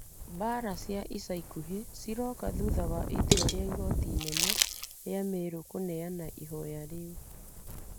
Mbaara cia ica ikuhĩ ciroka thutha wa itua rĩa igoti inene rĩa Merũ kũneana ihoya riu,